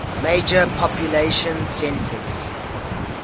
major population centers